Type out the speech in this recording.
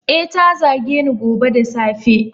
Eh, ta zageni dazu da safe.